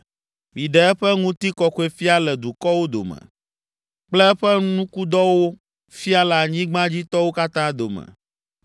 Miɖe eƒe Ŋutikɔkɔefia le dukɔwo dome kple eƒe nukudɔwo fia le anyigbadzitɔwo katã dome.